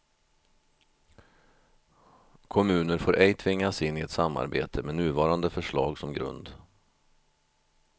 Kommuner får ej tvingas in i ett samarbete med nuvarande förslag som grund.